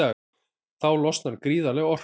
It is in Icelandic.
Þá losnar gríðarleg orka.